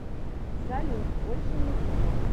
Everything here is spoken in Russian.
салют больше ничего